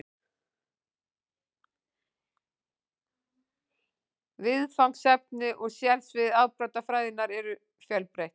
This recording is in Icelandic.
Viðfangsefni og sérsvið afbrotafræðinnar eru fjölbreytt.